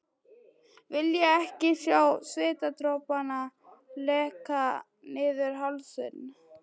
Vilja ekki sjá svitadropana leka niður hálsinn.